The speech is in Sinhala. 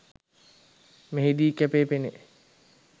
මෙහිදී කැපී පෙනෙයි